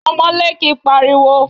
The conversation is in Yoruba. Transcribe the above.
Ọmọlé kìí pariwo.